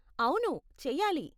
అవును, చెయ్యాలి.